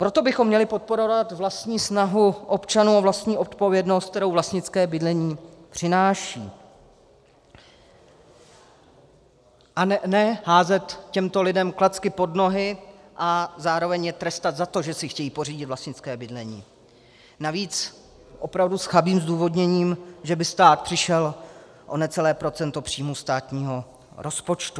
Proto bychom měli podporovat vlastní snahu občanů o vlastní odpovědnost, kterou vlastnické bydlení přináší, a ne házet těmto lidem klacky pod nohy a zároveň je trestat za to, že si chtějí pořídit vlastnické bydlení, navíc opravdu s chabým zdůvodněním, že by stát přišel o necelé procento příjmu státního rozpočtu.